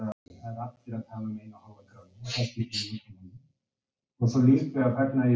Arnar Björnsson EKKI besti íþróttafréttamaðurinn?